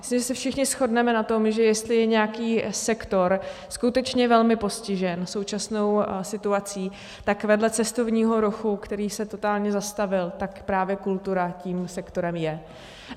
Myslím, že se všichni shodneme na tom, že jestli je nějaký sektor skutečně velmi postižen současnou situací, tak vedle cestovního ruchu, který se totálně zastavil, tak právě kultura tím sektorem je.